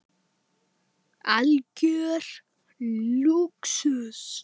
Algjör lúxus.